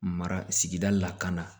Mara sigida la ka na